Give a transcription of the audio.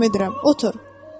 Hökm edirəm, otur.